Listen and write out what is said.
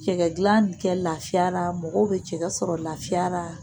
Cɛkɛ gilan kɛ lafiya la mɔgɔw bɛ cɛkɛ sɔrɔ lafiya la